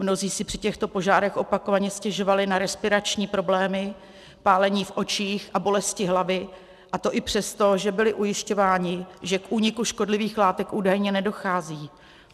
Mnozí si při těchto požárech opakovaně stěžovali na respirační problémy, pálení v očích a bolesti hlavy, a to i přesto, že byli ujišťováni, že k úniku škodlivých látek údajně nedochází.